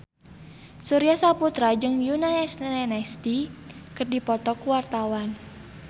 Surya Saputra jeung Yoona SNSD keur dipoto ku wartawan